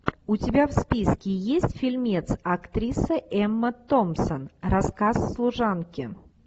у тебя в списке есть фильмец актриса эмма томпсон рассказ служанки